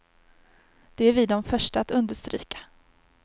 Det är vi de första att understryka.